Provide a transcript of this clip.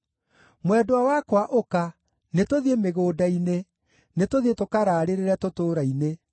Mwendwa wakwa, ũka, nĩtũthiĩ mĩgũnda-inĩ, nĩtũthiĩ tũkaraarĩrĩre tũtũũra-inĩ.